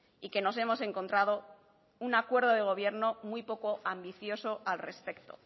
y que nos hemos encontrado un acuerdo de gobierno muy poco ambicioso al respecto